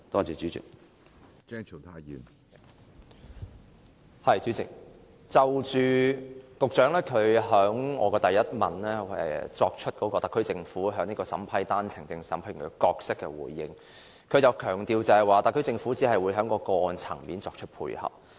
主席，就我主體質詢的第一部分，關於特區政府在單程證審批程序中的角色，局長強調特區政府只會在個案層面作出配合。